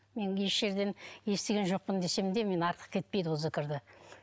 мен неше жерден естіген жоқпын десем де мен артық кетпейді ол зікірді